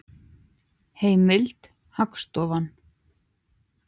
Heimild: Hagstofan.